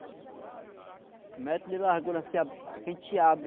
Um metro de largura, assim, que a gente abre.